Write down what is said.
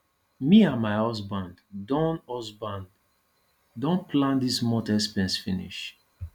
me and my husband don husband don plan dis month expenses finish